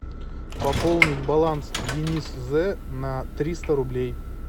пополнить баланс денис з на триста рублей